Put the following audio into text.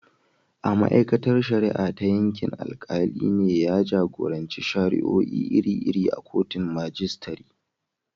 A ma’aikatar shari’a ta yankin, alkali ne ya jagoranci shari’o’i iri-iri a kotun majistare.